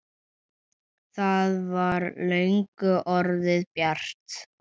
Það var löngu orðið bjart.